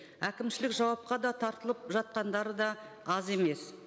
әкімшілік жауапқа да тартылып жатқандар да аз емес